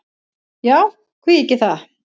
Já, hví ekki það?